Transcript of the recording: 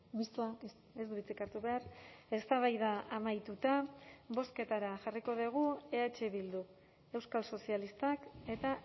mistoak ez du hitzik hartu behar eztabaida amaituta bozketara jarriko dugu eh bildu euskal sozialistak eta